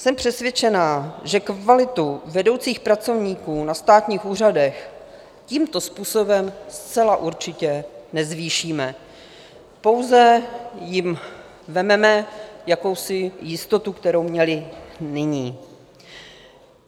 Jsem přesvědčená, že kvalitu vedoucích pracovníků na státních úřadech tímto způsobem zcela určitě nezvýšíme, pouze jim vezmeme jakousi jistotu, kterou měli nyní.